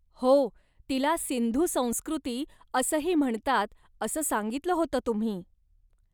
हो, तिला सिंधू संस्कृती असंही म्हणतात असं सांगितलं होतं तुम्ही.